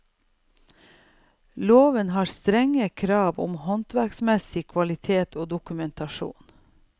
Loven har strenge krav til håndverksmessig kvalitet og dokumentasjon.